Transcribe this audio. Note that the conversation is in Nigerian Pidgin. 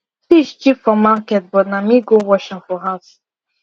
fish cheap for market but na me go wash am for house